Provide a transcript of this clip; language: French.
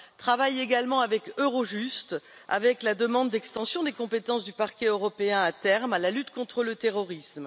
Un travail à mener également avec Eurojust, avec la demande d'extension des compétences du Parquet européen, à terme, à la lutte contre le terrorisme.